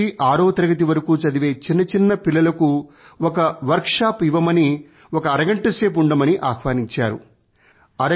మూడు నుంచీ ఆరవ తరగతి వరకూ చదివే చిన్న చిన్న పిల్లలకు ఒక వర్క్ షాప్ ఇవ్వమని ఒక ఆరగంట సేపు ఉండమని ఆహ్వానించారు